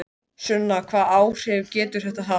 Sunna: Hvaða áhrif getur þetta haft?